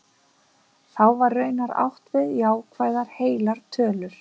Þá var raunar átt við jákvæðar heilar tölur.